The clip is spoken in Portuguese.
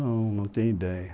Não, não tenho ideia.